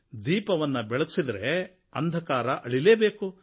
ದೀಪವನ್ನು ಬೆಳಗಿಸಿದರೆ ಅಂಧಕಾರವು ಅಳಿಯಲೇ ಬೇಕು